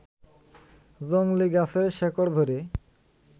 জংলি গাছের শেকড় ভরে